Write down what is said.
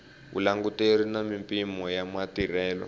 vulanguteri na mimpimo ya matirhelo